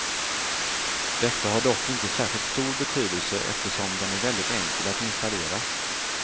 Detta har dock inte särskilt stor betydelse eftersom den är väldigt enkel att installera.